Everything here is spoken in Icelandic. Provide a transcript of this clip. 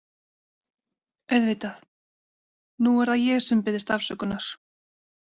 Auðvitað, nú er það ég sem biðst afsökunar.